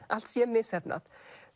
allt sé misheppnað